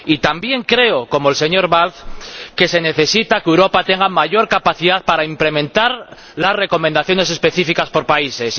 Y también creo, como el señor Balz, que es necesario que Europa tenga mayor capacidad para implementar las recomendaciones específicas por países.